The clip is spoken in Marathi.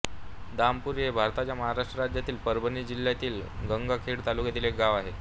दामपूरी हे भारताच्या महाराष्ट्र राज्यातील परभणी जिल्ह्यातील गंगाखेड तालुक्यातील एक गाव आहे